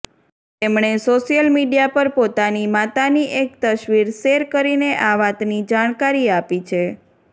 તેમણે social media પર પોતાની માતાની એક તસવીર શેર કરીને આ વાતની જાણકારી આપી છે